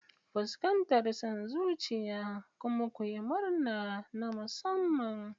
Fuskantar son zuciya kuma ku yi murna na musamman.